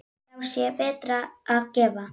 Þá sé betra að gefa.